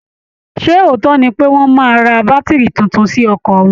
Ṣé òótọ́ ni pé wọ́n máa ra bátìrì tuntun sí ọkọ̀ wọn